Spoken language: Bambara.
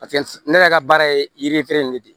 Paseke ne yɛrɛ ka baara ye yiri feere nin de ye